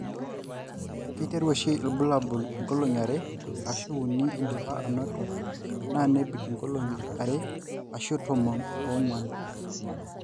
kiteru oshi ilbulabul engolong yiare ashu uni indipa anoto na nebik ingolongi are ash tomon ongwan.